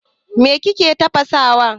Me kake tafasawa?